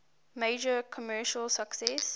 major commercial success